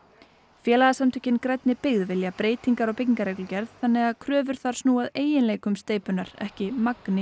félagasamtökin grænni byggð vilja breytingar á byggingareglugerð þannig að kröfur þar snúi að eiginleikum steypunnar ekki magni